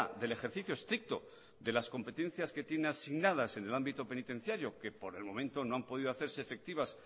del ejercicio estricto de las competencias que tiene asignadas en el ámbito penitenciario que por el momento no han podido hacerse efectivas